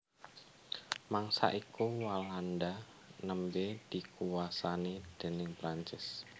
Mangsa iku Walanda nembé dikuwasani déning Prancis